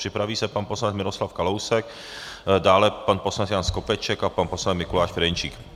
Připraví se pan poslanec Miroslav Kalousek, dále pan poslanec Jan Skopeček a pan poslanec Mikuláš Ferjenčík.